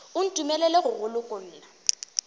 o ntumelele go go lokolla